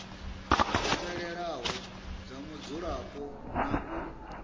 fhelelaho dza mudzulapo na u